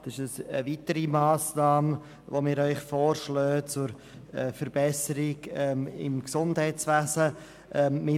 Dies ist nun eine weitere Massnahme, die wir Ihnen zur Verbesserung des Gesundheitswesens vorschlagen.